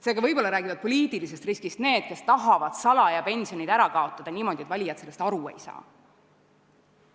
Seega, võib-olla räägivad poliitilisest riskist need, kes tahavad pensionid ära kaotada salaja, niimoodi, et valijad sellest aru ei saa.